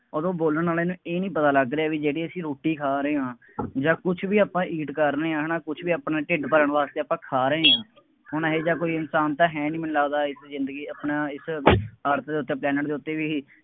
ਉਹਨੂੰ ਬੋਲਣ ਵਾਲੇ ਨੂੰ ਇਹ ਨਹੀਂ ਪਤਾ ਲੱਗ ਰਿਹਾ ਬਈ ਜਿਹੜੀ ਅਸੀਂ ਰੋਟੀ ਖਾ ਰਹੇ ਹਾਂ, ਜਾਂ ਕੁੱਛ ਵੀ ਆਪਾਂ eat ਕਰ ਰਹੇ ਹਾਂ, ਹੈ ਨਾ, ਕੁੱਛ ਵੀ ਆਪਣਾ ਢਿੱਡ ਭਰਨ ਵਾਸਤੇ ਆਪਾਂ ਖਾ ਰਹੇ ਹਾਂ, ਹੁਣ ਇਹੋ ਜਿਹਾ ਕੋਈ ਇਨਸਾਨ ਤਾਂ ਹੈ ਨਹੀਂ ਮੈਨੂੰ ਲੱਗਦਾ ਇਹੋ ਜ਼ਿੰਦਗੀ ਆਪਣਾ ਇੱਧਰ earth ਦੇ ਉੱਤੇ, planet ਦੇ ਉੱਤੇ ਵੀ